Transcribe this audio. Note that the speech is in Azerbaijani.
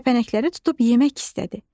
Kəpənəkləri tutub yemək istədi.